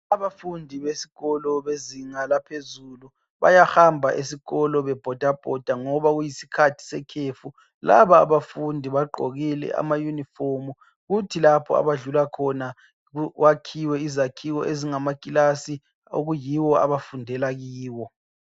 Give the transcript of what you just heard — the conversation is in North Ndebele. Abafundi besikolo bezinga laphezulu bayahamba esikolo bebhodabhoda ngoba kuyisikhathi sekhefu. Laba abafundi bagqokile amayunifomu kuthi lapha abadlula khona kwakhiwe izakhiwo ezingamakilasi okuyiwo abafundela kiwo.